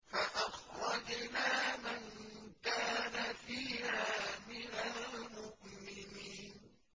فَأَخْرَجْنَا مَن كَانَ فِيهَا مِنَ الْمُؤْمِنِينَ